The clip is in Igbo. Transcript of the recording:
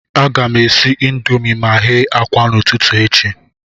A ga m esi indomii ma ghe akwa n'ụtụtụ echi.